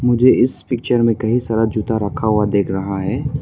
मुझे इस पिक्चर में कई सारा जूता रखा हुआ दिख रहा है।